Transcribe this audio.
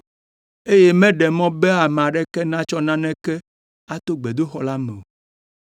eye meɖe mɔ be ame aɖeke natsɔ naneke ato gbedoxɔ la me o.